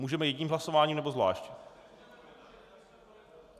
Můžeme jedním hlasováním, nebo zvlášť?